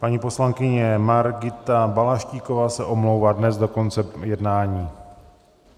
Paní poslankyně Margita Balaštíková se omlouvá dnes do konce jednání.